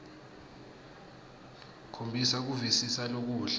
khombisa kuvisisa lokuhle